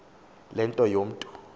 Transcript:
le nto umntu